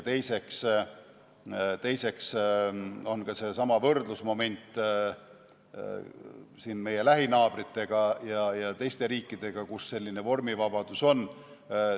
Teiseks on seesama võrdlusmoment meie lähinaabritega ja teiste riikidega, kus selline vormivabadus on.